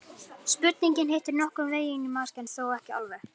Spurningin hittir nokkurn veginn í mark en þó ekki alveg.